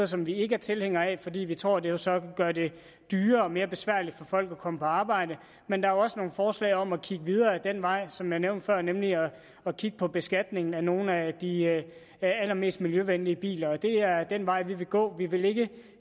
som vi ikke er tilhængere af fordi vi tror det så vil gøre det dyrere og mere besværligt for folk at komme på arbejde men der er også nogle forslag om at kigge videre ad den vej som jeg nævnte før nemlig at kigge på beskatningen af nogle af de allermest miljøvenlige biler og det er den vej vi vil gå vi vil ikke